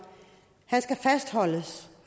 han skal fastholdes